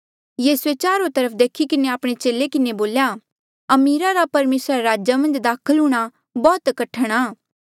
यीसूए चारो तरफ देखी किन्हें आपणे चेले किन्हें बोल्या अमीरा रा परमेसरा रे राजा मन्झ दाखल हूंणां बौह्त कठण आ